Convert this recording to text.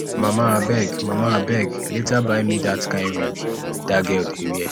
mama abeg mama abeg later buy me dat kin wig dat girl dey wear